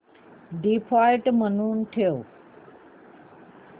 default म्हणून ठेव